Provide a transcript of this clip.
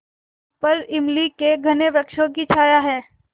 ऊपर इमली के घने वृक्षों की छाया है